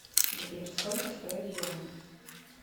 сбер сколько стоит юань